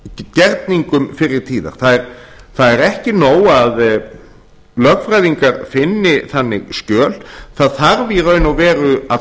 gerningum fyrri tíða það er ekki nóg að lögfræðingar finni þannig skjöl það þarf í raun og veru að